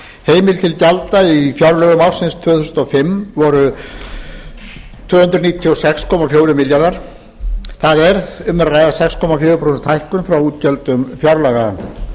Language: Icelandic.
heimild til gjalda í fjárlögum ársins tvö þúsund og fimm var tvö hundruð níutíu og sex komma fjórir milljarðar króna það er sex komma fjögur prósent hækkun frá útgjöldum fjárlaga